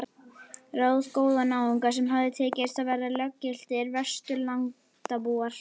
Ráðagóða náunga sem hafði tekist að verða löggiltir Vesturlandabúar.